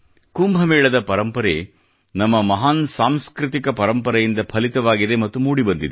ಕುಂಭಮೇಳದ ಪರಂಪರೆಯು ನಮ್ಮ ಮಹಾನ್ ಸಾಂಸ್ಕೃತಿಕ ಪರಂಪರೆಯಿಂದ ಫಲಿತವವಾಗಿದೆ ಮತ್ತು ಮೂಡಿಬಂದಿದೆ